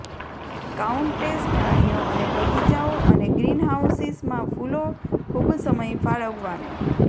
countess પ્રાણીઓ અને બગીચાઓ અને ગ્રીનહાઉસીસ માં ફૂલો ખૂબ સમય ફાળવવાનું